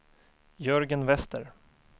Jörgen Wester